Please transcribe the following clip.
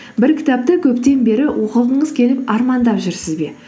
бір кітапты көптен бері оқығыңыз келіп армандап жүрсіз бе